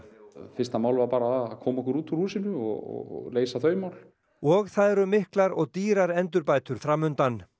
fyrsta mál var bara að koma okkur út úr húsinu og leysa þau mál og það eru miklar og dýrar endurbætur fram undan